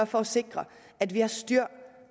for at sikre at vi har styr